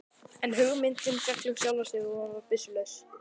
En hugmyndin féll um sjálft sig, hann var byssulaus.